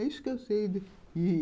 É isso que eu sei.